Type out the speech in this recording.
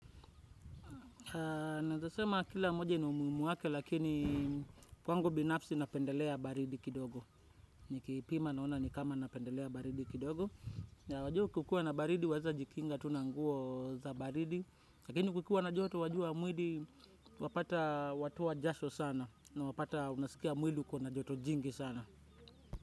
Naeza sema kila moja ina umuhimu wake lakini kwangu binafsi napendelea baridi kidogo. Nikipima naona nikama napendelea baridi kidogo. Wajua kukiwa na baridi waeza jikinga tu na nguo za baridi. Lakini kukiwa na joto wajua mwili wapata watoa jasho sana. Na wapata unasikia mwili uko na joto jingi sana.